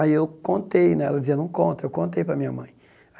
Aí eu contei, né, ela dizia, não conta, eu contei para a minha mãe.